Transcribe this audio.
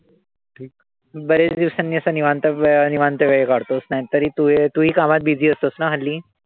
बरेच दिवसांनी असं निवांत वेळ निवांत वेळ काढतो. नाहीतरी तू तू ही कामात busy असतोस ना हल्ली.